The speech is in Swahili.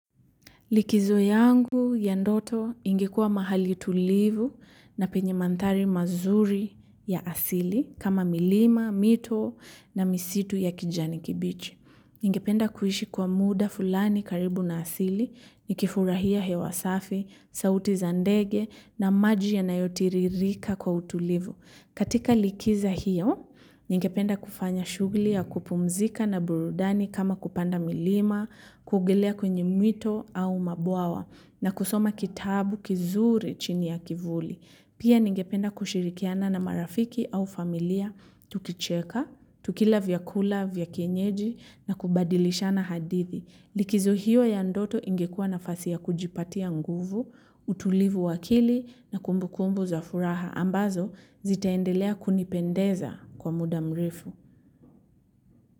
Likizo yangu ya ndoto ingekua mahali tulivu na penye mandhari mazuri ya asili kama milima mito na misitu ya kijani kibichi ningependa kuishi kwa muda fulani karibu na asili nikifurahia hewa safi, sauti za ndege na maji yanayo tiririka kwa utulivu. Katika likizo hiyo, ningependa kufanya shugli ya kupumzika na burudani kama kupanda milima, kuogelea kwenye mito au mabwawa na kusoma kitabu kizuri chini ya kivuli. Pia ningependa kushirikiana na marafiki au familia, tukicheka, tukila vyakula, vya kienyeji na kubadilishana hadithi. Likizo hiyo ya ndoto ingekua nafasi ya kujipatia nguvu, utulivu wa akili na kumbu kumbu za furaha ambazo zitaendelea kunipendeza kwa muda mrefu.